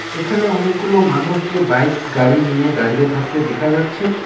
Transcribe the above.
এখানে অনেকগুলো মানুষকে বাইক গাড়ি নিয়ে দাঁড়িয়ে থাকতে দেখা যাচ্ছে।